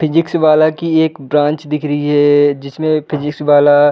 physics वाला की एक ब्रांच दिख रही है जिसमे फिज़िक्स वाला --